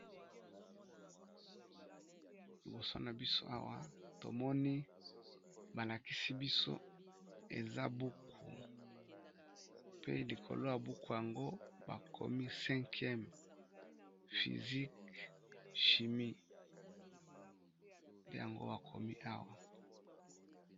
Liboso na biso awa tomoni ba lakisi biso eza buku pe likolo ya buku yango ba komi 5m fysiqe shimi yango bakomi awa.